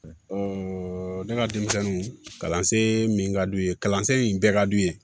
ne ka denmisɛnninw kalansen min ka d'u ye kalansen bɛɛ ka d'u ye